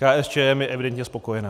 KSČM je evidentně spokojená.